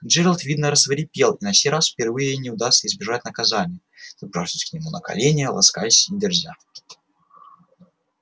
джералд видно рассвирепел и на сей раз впервые не удастся избежать наказания забравшись к нему на колени ласкаясь и дерзя